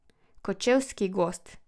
Kočevski gozd.